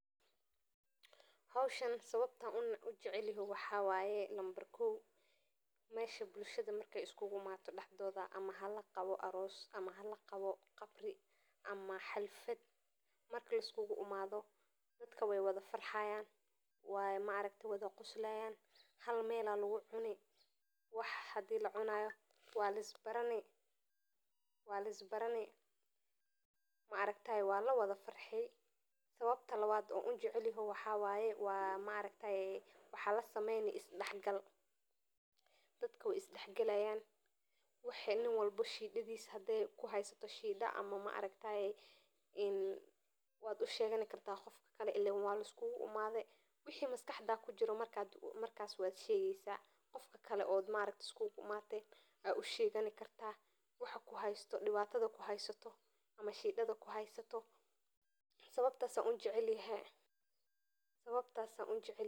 Howshaan sawabtan an ujecelyoho waxa wate meesha bulshada markey iskuguimato oo laqawo xalfad oo dadka wy wada farxayan oo wax lawada cuni lawada farxi. Sawabta lawad an ujeclayahay waxa waye isdaxgal ayay lagaheli oo nin walbo dibkisa aya laislawa wadagi oo qofka kale ayad usheeg oo sawabtas ayan ujecelyehe.